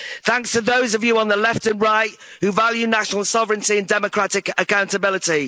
Brexit. Thanks to those of you on the left and right who value national sovereignty and democratic accountability.